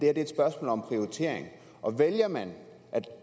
er et spørgsmål om prioritering og vælger man